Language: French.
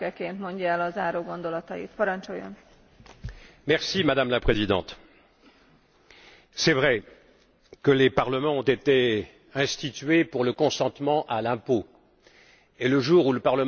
Madame la Présidente, il est vrai que les parlements ont été institués pour le consentement à l'impôt, et le jour où le Parlement européen pourra voter l'impôt, nous aurons fait un pas décisif.